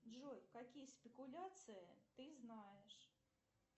джой какие спекуляции ты знаешь